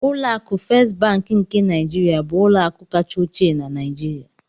Ụlọ akụ Fést Bankị nke Niijiria bụ ụlọakụ kacha ochie na Niijiria.